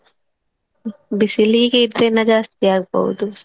ಬಿಸಿಲಿಗೆ ಇದ್ಕಿನ್ನಾ ಜಾಸ್ತಿ ಆಗ್ಬೋದು.